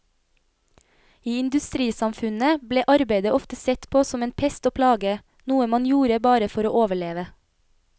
I industrisamfunnet ble arbeidet ofte sett på som en pest og plage, noe man gjorde bare for å overleve.